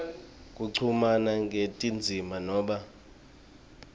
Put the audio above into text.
kuchumana kwetindzima noma